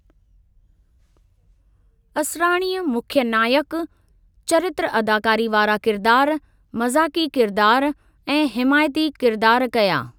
असराणीअ मुख्य नायकु, चरित्र अदाकारी वारा किरदारु, मज़ाकी किरदारु ऐं हिमायती किरदारु कया।